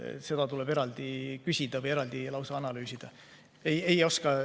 Seda tuleb eraldi küsida või eraldi analüüsida.